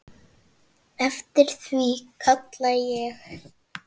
Eftir því kalla ég.